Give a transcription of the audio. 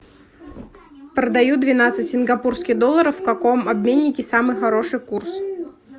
продаю двенадцать сингапурских долларов в каком обменнике самый хороший курс